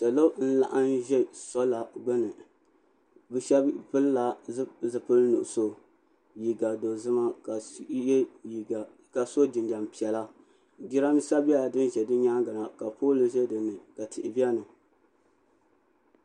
Salo n laɣim ʒɛ sɔla gbuni bi shɛba pili la zipili nuɣusu liiga dozima ka so jinjam piɛla jiranbiisa nyɛla din bɛ bi nyaanga na ka pooli ʒɛ dini ka tihi bɛni.